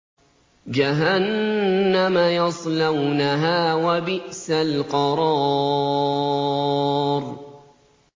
جَهَنَّمَ يَصْلَوْنَهَا ۖ وَبِئْسَ الْقَرَارُ